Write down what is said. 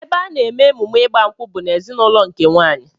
Ebe a na-eme emume ịgba nkwụ bụ n'ezinụlọ nke nwaanyị